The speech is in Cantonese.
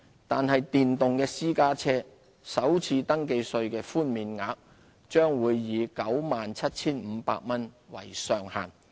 但是，電動私家車首次登記稅的寬免額將會以 97,500 元為上限。